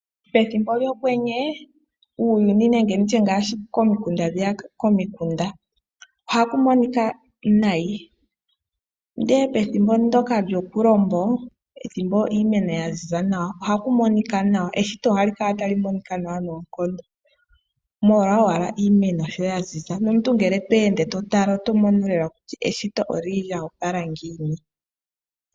Pethimbo lyokwenye uuyuni nenge komikunda ohaku monika nayi, ihe pethimbo lyokulombo pethimbo iimeno ya ziza nawa ohaku monika nawa, Eshito ohali kala tali monika nawa noonkondo, molwa owala iimeno sho ya ziza nawa. Nomuntu ngele to ende to tala oto mono lela kutya eshito oli li lyo opala ngiini.